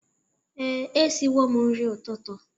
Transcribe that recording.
Ee, e siwo m nri ụtụtụ